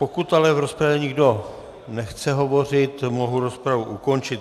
Pokud ale v rozpravě nikdo nechce hovořit, mohu rozpravu ukončit.